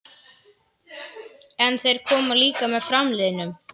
En þeir koma líka með framliðnum.